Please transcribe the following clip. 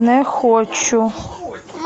не хочу